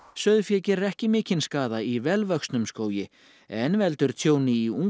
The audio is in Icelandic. sauðfé gerir ekki mikinn skaða í vel vöxnum skógi en veldur tjóni í